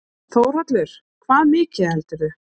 Þórhallur: Hvað mikið heldurðu?